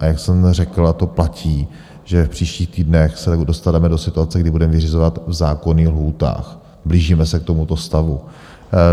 A jak jsem řekl, a to platí, že v příštích týdnech se dostaneme do situace, kdy budeme vyřizovat v zákonných lhůtách, blížíme se k tomuto stavu.